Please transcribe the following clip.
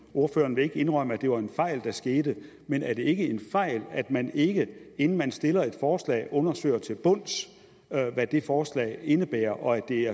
ordføreren vil ikke indrømme at det var en fejl der skete men er det ikke en fejl at man ikke inden man stiller et forslag undersøger til bunds hvad det forslag indebærer og at det